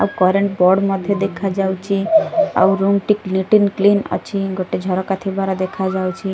ଆଉ current board ମଧ୍ୟ୍ୟ ଦେଖାଯାଉଚି ଆଉ ରୁମ ଟି କ୍ଲିଟିନ କ୍ଲିନ ଅଛି ଗୋଟେ ଝରକା ଥିବାର ଦେଖାଯାଉଛି।